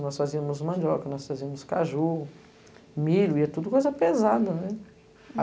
Nós fazíamos mandioca, nós fazíamos caju, milho, e era tudo coisa pesada, né?